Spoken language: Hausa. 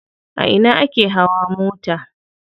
A ina ake hawa mota?